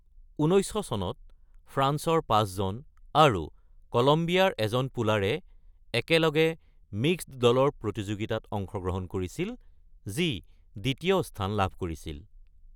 ১৯০০ চনত ফ্ৰান্সৰ ৫জন আৰু কলম্বিয়াৰ ১জন পুলাৰে একেলগে মিক্সড দলৰ প্ৰতিযোগিতাত অংশগ্ৰহণ কৰিছিল যি দ্বিতীয় স্থান লাভ কৰিছিল।